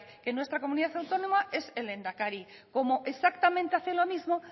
que en nuestra comunidad autónoma es el lehendakari como exactamente hace lo mismo